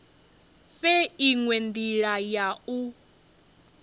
fhe inwe ndila ya u